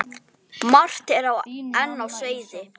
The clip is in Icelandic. Margt er enn á seyði.